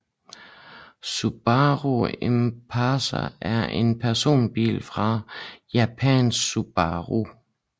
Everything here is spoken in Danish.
Subaru Impreza er en personbil fra japanske Subaru